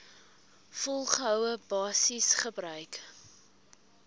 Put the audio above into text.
volgehoue basis gebruik